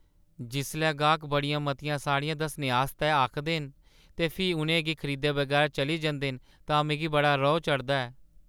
जिसलै गाह्क बड़ियां मतियां साड़ियां दस्सने आस्तै आखदे न ते फ्ही उʼनें गी खरीदे बगैर चली जंदे न तां मिगी बड़ा रोह् चढ़दा ऐ।